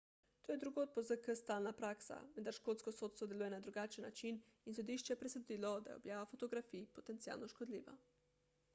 to je drugod po zk stalna praksa vendar škotsko sodstvo deluje na drugačen način in sodišče je presodilo da je objava fotografij potencialno škodljiva